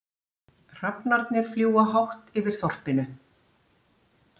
Hrafnarnir fljúga hátt yfir þorpinu.